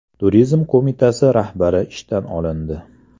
Turizm qo‘mitasi rahbari ishdan olindi.